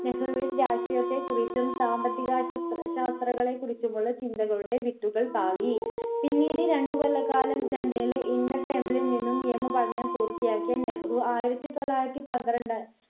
നെഹ്‌റുവിന്റെ ആശയത്തെ കുറിച്ചും സാമ്പത്തികാശ് ശാസ്ത്രങ്ങളെ കുറിച്ചുമുള്ള ചിന്തകളുടെ വിത്തുകൾ പാകി പിന്നീട് രണ്ടുകൊല്ല കാലം ലണ്ടനിൽ ഇന്നത്തെ നിന്നും നിയമപഠനം പൂർത്തിയാക്കിയ നെഹ്‌റു ആയിരത്തി തള്ളായിരത്തി പന്ത്രണ്ട്